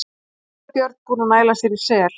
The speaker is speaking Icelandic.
Hvítabjörn búinn að næla sér í sel.